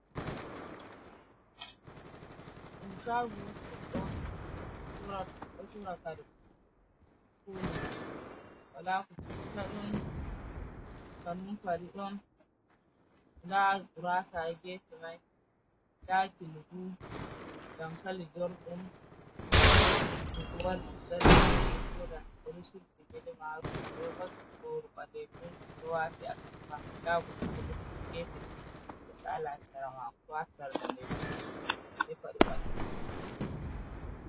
Inshagu ron surakar koli wala ku cuftadin hanun faridon lagurasa gefe mi dakilugu damkali jor’un luguwar sudgar s soda ori subigilmarun rovati gorbaleku crowati atafa dagrgefen dga salarwa krowatar da legu me faribale.